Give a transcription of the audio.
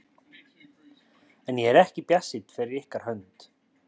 En ég er ekki bjartsýnn fyrir ykkar hönd.